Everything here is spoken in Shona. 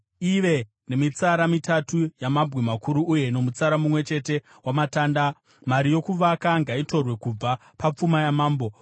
ive nemitsara mitatu yamabwe makuru uye nomutsara mumwe chete wamatanda. Mari yokuvaka ngaitorwe kubva papfuma yamambo.